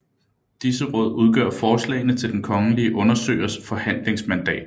Disse råd udgør forslagene til den kongelige undersøgers forhandlingsmandat